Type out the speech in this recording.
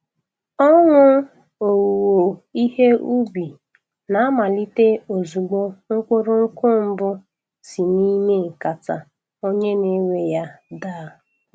Ọṅụ owuwe ihe ubi na-amalite ozugbo mkpụrụ nkwụ mbụ si n'ime nkata onye na-ewe ya daa.